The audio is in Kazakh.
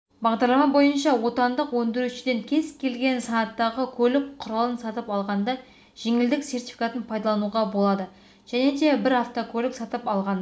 бағдарлама бойынша отандық өндірушіден кез келген санаттағы көлік құралын сатып алғанда жеңілдік сертификатын пайдалануға болады және де бір автокөлік сатып алғанда